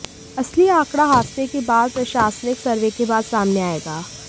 असली आंकड़ा हादसे के बाद प्रशासनिक सर्वे के बाद सामने आएगा